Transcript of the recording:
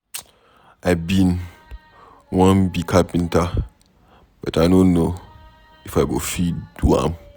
I bin wan be carpenter but I no know If I go fit do am.